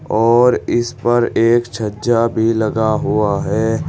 और इस पर एक छज्जा भी लगा हुआ है।